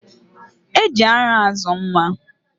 E ji ara azụ nwa.